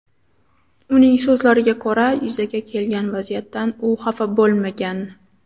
Uning so‘zlariga ko‘ra, yuzaga kelgan vaziyatdan u xafa bo‘lmagan.